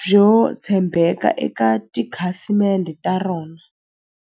byo tshembeka eka tikhasimende ta rona.